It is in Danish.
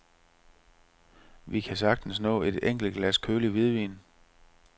Vi kan sagtens nå et enkelt glas kølig hvidvin.